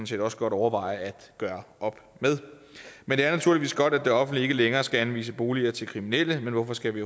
set også godt overveje at gøre op med men det er naturligvis godt at det offentlige ikke længere skal anvise boliger til kriminelle men hvorfor skal vi